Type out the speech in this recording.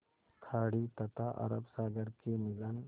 खाड़ी तथा अरब सागर के मिलन